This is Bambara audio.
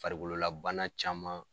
Farikololabana caman